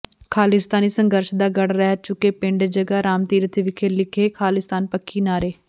ਖਾਲਿਸਤਾਨੀ ਸੰਘਰਸ਼ ਦਾ ਗੜ੍ਹ ਰਹਿ ਚੁੱਕੇ ਪਿੰਡ ਜਗ੍ਹਾ ਰਾਮ ਤੀਰਥ ਵਿਖੇ ਲਿਖੇ ਖ਼ਾਲਿਸਤਾਨ ਪੱਖੀ ਨਾਅਰੇ